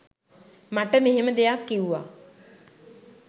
මට මෙහෙම දෙයක් කිව්ව